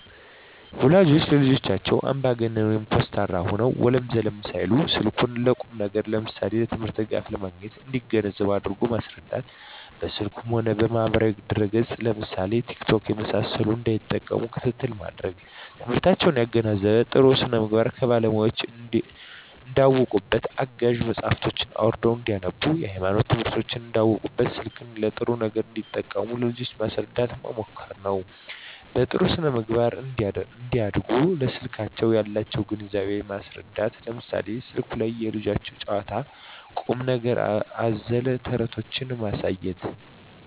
ወላጆች ለልጆቻቸው አምባገነን (ኮስታራ) ሆነው ወለም ዘለም ሳይሉ ስልኩን ለቁም ነገር ለምሳሌ ለትምህርት ድጋፍ ለማግኘት እንዲገነዘቡ አድርጎ ማስረዳት። በስልኩ ማህበራዊ ድረ ገፅ ለምሳሌ ቲክቶክ የመሳሰሉትን እንዳይጠቀሙ ክትትል ማድረግ። ትምህርታቸውን ያገናዘበ , ጥሩ ስነምግባር ከባለሙያወች እንዳውቁበት , አጋዥ መፅሀፎችን አውርደው እንዳነቡብት, የሀይማኖት ትምህርቶችን እንዳውቁበት , ስልክን ለጥሩ ነገር እንዲጠቀሙ ለልጆች ማስረዳት መምከር ነው። በጥሩ ስነ-ምግባር እንዲያድጉ ለስልክ ያላቸውን ግንዛቤ ማስረዳት ለምሳሌ ስልኩ ላይ የልጆች ጨዋታ ቁም ነገር አዘል ተረቶችን ማሳየት